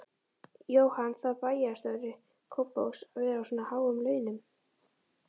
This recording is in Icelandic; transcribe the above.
Jóhann: Þarf bæjarstjóri Kópavogs að vera á svona háum launum?